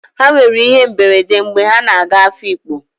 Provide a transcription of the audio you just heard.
Ha nwere íhé mberede mgbe ha na-aga Afikpo.